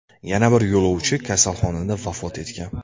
Yana bir yo‘lovchi kasalxonada vafot etgan.